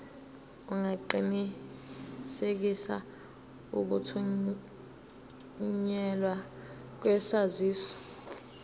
ungaqinisekisa ukuthunyelwa kwesaziso